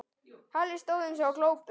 Halli stóð eins og glópur.